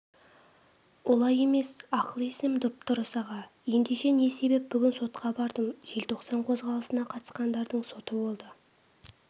олай емес ақыл-есім дұп-дұрыс аға ендеше не себеп бүгін сотқа бардым желтоқсан қозғалысына қатысқандардың соты болды